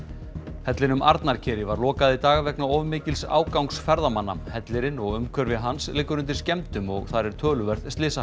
hellinum var lokað í dag vegna of mikils ágangs ferðamanna hellirinn og umhverfi hans liggur undir skemmdum og þar er töluverð slysahætta